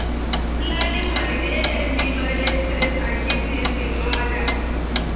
Planning my day help me manage stress and keep things in order.